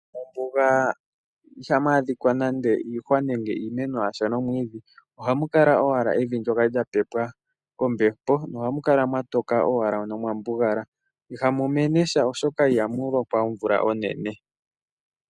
Mombuga iha mu adhika nande iimeno yasha nenge omwiidhi, oha mu kala owala evi ndjoka lya pepwa kombepo ohamukala mwa toka owala nomwambugala. Iha mu mene omwiidhi lela, oshoka iha mu lokwa omvula onene.